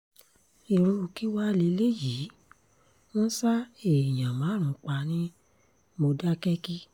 irú kí wàá lélẹ́yìí wọ́n ṣa èèyàn márùn-ún pa ní mòdákẹ́kí